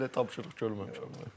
Hələ elə tapşırıq görməmişəm.